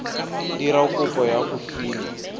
dira kopo ya go fiwa